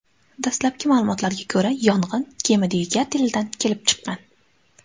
Dastlabki ma’lumotlarga ko‘ra, yong‘in kema dvigatelidan kelib chiqqan.